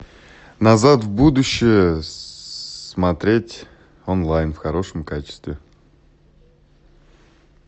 назад в будущее смотреть онлайн в хорошем качестве